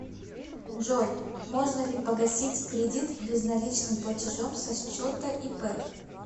джой можно ли погасить кредит безналичным платежом со счета ип